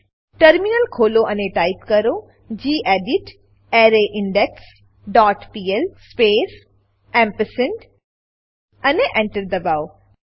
terminal ખોલો અને type કરો gedit arrayindex dot P L space ampersand અને Enter દબાવો